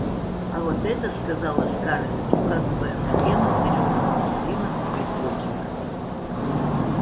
а вот это сказала скарлетт указывая на пену зелёного муслина в цветочек